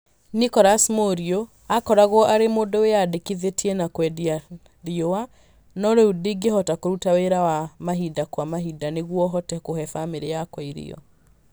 Nicolous Muriu aakoragwo arĩ mũndũ wĩyandĩkithĩtie wa kwendia rũũa, no rĩu ndĩhotaga kũruta wĩra wa mahinda kwa mahinda nĩguo hote kũhe famĩlĩ yakwa irio.